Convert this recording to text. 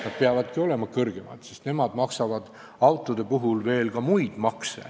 Nad peavadki olema kõrgemad, sest nemad maksavad autode puhul ka muid makse.